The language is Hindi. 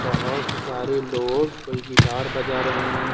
बहुत सारे लोग कोई गिटार बजा रहे हैं।